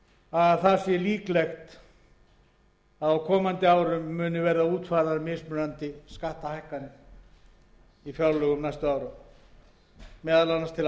að líklegt sé að í fjárlögum næstu ára muni verða útfærðar mismunandi skattahækkanir meðal annars til